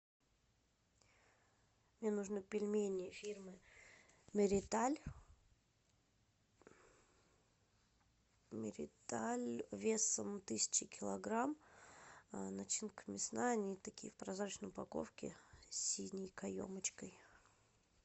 мне нужны пельмени фирмы мериталь мериталь весом тысяча килограмм начинка мясная они такие в прозрачной упаковке с синей каемочкой